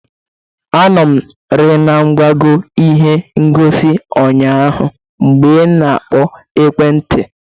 Anọ m rị na ngwago ihe ngosi ụnyaahụ mgbe ị na-akpọ n'ekwe nti.